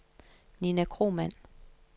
Ninna Kromann